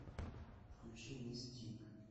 включи мис тик